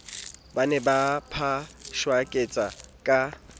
ba ne ba phashaketsa ka